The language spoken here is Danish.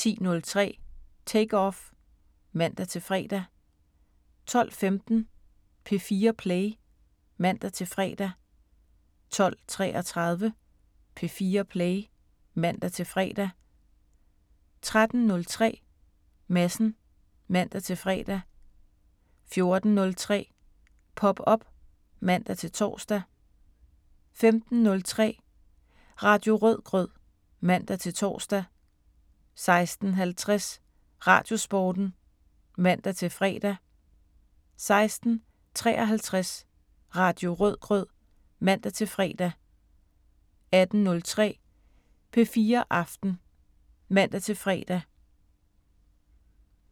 10:03: Take Off (man-fre) 12:15: P4 Play (man-fre) 12:33: P4 Play (man-fre) 13:03: Madsen (man-fre) 14:03: Pop op (man-tor) 15:03: Radio Rødgrød (man-tor) 16:50: Radiosporten (man-fre) 16:53: Radio Rødgrød (man-fre) 18:03: P4 Aften (man-fre)